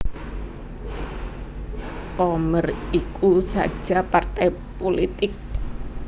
Pommer iku saja partai pulitik